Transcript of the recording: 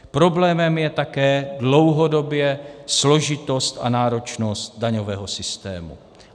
Problémem je také dlouhodobě složitost a náročnost daňového systému.